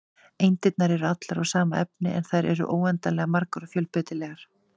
Eindirnar eru allar úr sama efni, en þær eru óendanlega margar og fjölbreytilegar.